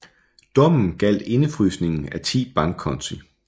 Dommen galdt indfrysningen af 10 bankkonti